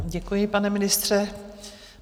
Děkuji, pane ministře.